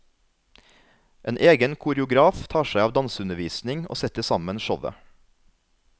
En egen koreograf tar seg av danseundervisning og setter sammen showet.